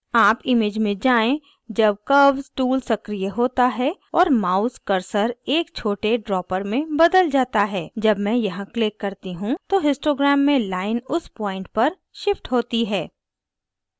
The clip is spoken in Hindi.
आप image में जाएँ जब curve tool सक्रीय होता है और mouse cursor एक छोटे dropper में बदल जाता है जब मैं यहाँ click करती you तो histogram में line उस point तक shifts होती है